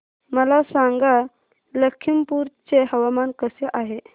मला सांगा लखीमपुर चे हवामान कसे आहे